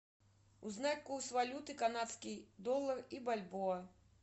узнать курс валюты канадский доллар и бальбоа